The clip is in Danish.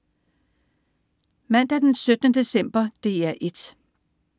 Mandag den 17. december - DR 1: